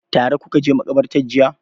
Tare kuka je maƙabarta jiya.